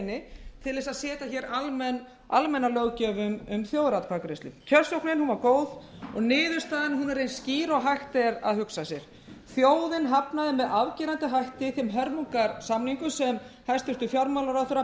til að setja almenna löggjöf um þjóðaratkvæðagreiðslu kjörsóknin var góð og niðurstaðan er eins skýr og hægt er að hugsa sér þjóðin hafnaði með afgerandi hætti þeim hörmungarsamningum sem hæstvirtur fjármálaráðherra